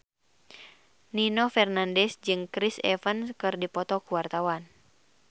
Nino Fernandez jeung Chris Evans keur dipoto ku wartawan